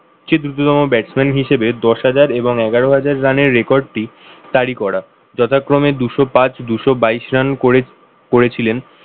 চেয়ে দ্রুততম batsman হিসেবে দশ হাজার এবং এগারো হাজার রানের record টি তারি করা। যথাক্রমে দুশো পাঁচ, দুশো বাইশ রান করে করেছিলেন